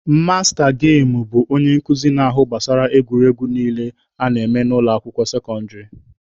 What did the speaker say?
Masta gemụ bụ onye nkuzi na-ahụ gbasara egwuregwu niile a na-eme na ụlọ akwụkwọ sekọndịrị.